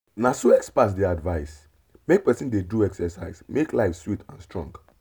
na so experts dey advise—make person dey do exercise make life sweet and strong.